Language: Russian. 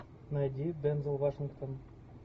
найди дензел вашингтон